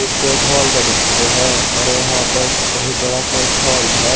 से एक हॉल का दृश्य है और यहां पर बहुत बड़ा सा एक हॉल है।